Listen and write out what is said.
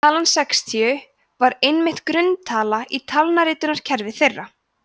talan sextíu var einnig grunntala í talnaritunarkerfi þeirra